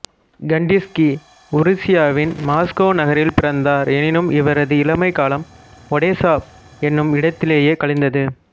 Kandinsky உருசியாவின் Moscow நகரில் பிறந்தார் எனினும் இவரது இளமைக் காலம் ஒடெசா என்னும் இடத்திலேயே கழிந்தது